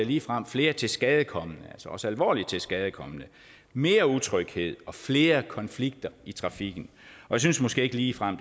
ligefrem flere tilskadekomne altså også alvorligt tilskadekomne mere utryghed og flere konflikter i trafikken jeg synes måske ikke ligefrem at